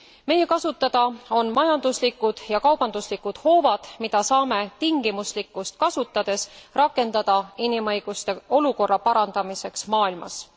Meie kasutada on majanduslikud ja kaubanduslikud hoovad, mida saame tingimuslikkust kasutades rakendada inimõiguste olukorra parandamiseks maailmas.